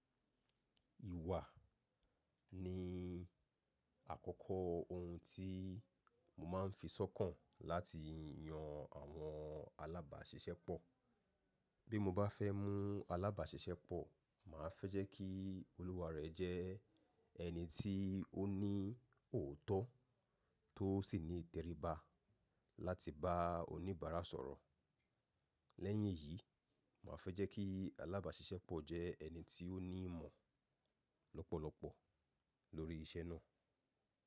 Ìwà ni àkọ́kọ́ ohun tí mo máa ń fi sọ́kàn láti yan àwọn alábàáṣiṣẹ́ pọ̀. Bí mo bá fẹ́ mú alábàáṣiṣẹ́ pọ̀, mà á fẹ́ jẹ́ kí olùwà rẹ̀ jẹ́ ẹni tí ó ní òótọ́ tó sì ní ìtẹríba láti bá oníbàárà sọ̀rọ̀. Lẹ́yìn èyí, mà á fẹ́ jẹ́ kí alábàáṣiṣẹ́ pọ̀ jẹ́ ẹni tí ó ní ìmọ̀ lọ́pọ̀lọpọ̀ lórí iṣẹ́ náà.